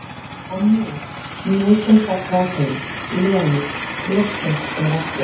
En nú, nú sem sagt var hún, Lena, loksins komin aftur.